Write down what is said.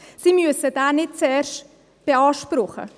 Sie müssen diesen nicht zuerst beanspruchen.